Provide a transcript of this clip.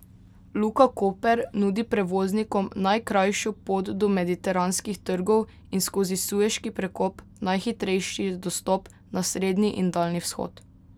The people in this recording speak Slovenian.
Luka Koper nudi prevoznikom najkrajšo pot do mediteranskih trgov in skozi Sueški prekop najhitrejši dostop na srednji in daljni vzhod.